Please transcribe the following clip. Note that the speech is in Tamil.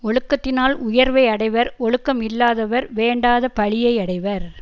ஒழுக்கத்தினால் உயர்வை அடைவர் ஒழுக்கம் இல்லாதவர் வேண்டாத பழியை அடைவர்